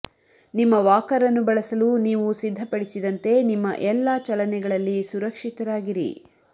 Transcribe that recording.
ನಿಮ್ಮ ವಾಕರ್ ಅನ್ನು ಬಳಸಲು ನೀವು ಸಿದ್ಧಪಡಿಸಿದಂತೆ ನಿಮ್ಮ ಎಲ್ಲಾ ಚಲನೆಗಳಲ್ಲಿ ಸುರಕ್ಷಿತರಾಗಿರಿ